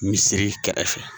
Misiri kɛrɛfɛ